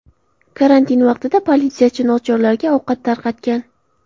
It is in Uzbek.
Karantin vaqtida politsiyachi nochorlarga ovqat tarqatgan.